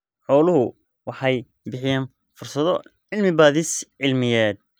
Xooluhu waxay bixiyaan fursado cilmi-baadhis cilmiyeed.